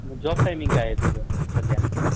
मग job timing काय आहे तुझ सध्या?